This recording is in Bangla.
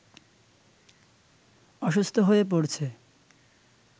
অসুস্থ হয়ে পড়ছে